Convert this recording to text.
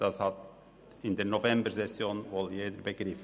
das hat in der Novembersession wohl jeder begriffen.